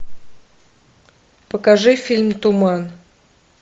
покажи фильм туман